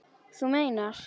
Þú meinar.